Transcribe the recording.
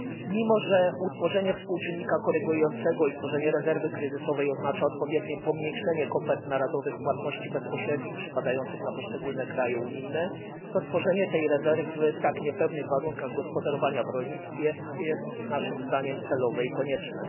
Mimo że utworzenie współczynnika korygującego i tworzenie rezerwy kryzysowej oznacza odpowiednie pomniejszenie kopert narodowych płatności bezpośrednich przypadających na poszczególne kraje unijne, to tworzenie tej rezerwy w tak niepewnych warunkach gospodarowania w rolnictwie jest naszym zdaniem celowe i konieczne.